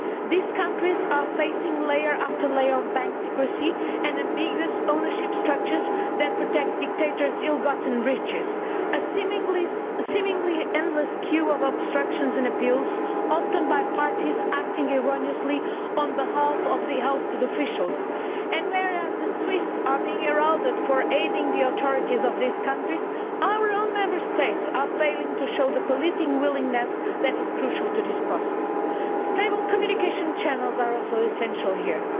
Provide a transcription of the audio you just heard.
These countries are facing layer upon layer of bank secrecy and ambiguous ownership structures that protect dictators' ill gotten riches a seemingly endless queue of obstructions and appeals, often by parties acting erroneously on behalf of the ousted officials. Whereas the Swiss are being heralded for aiding the authorities of these countries, our own Member States are failing to show the political willingness which is crucial to this process. Stable communication channels are also essential here.